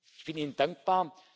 Ich bin Ihnen dankbar.